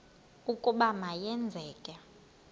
ukuba ma yenzeke